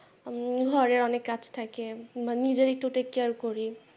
ঘরের অনেক কাজ থাকে নিজের একটু take care করি।